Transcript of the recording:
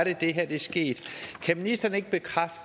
er det her er sket kan ministeren ikke bekræfte